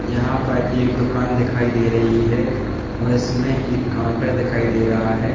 यहां पर एक दुकान दिखाई दे रही है और इसमें एक काउंटर दिखाई दे रहा है।